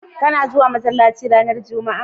ka na zuwa masallaci ranar jumma'a?